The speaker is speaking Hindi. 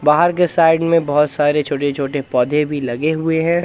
बाहर के साइड में बहोत सारे छोटे छोटे पौधे भी लगे हुए हैं।